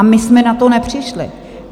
A my jsme na to nepřišli.